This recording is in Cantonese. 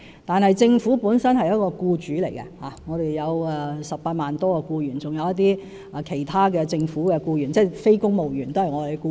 但政府本身是僱主，我們有18多萬名僱員，還有一些其他的政府僱員，即非公務員也是我們的僱員。